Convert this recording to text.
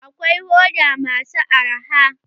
Akwai hoda masu arha.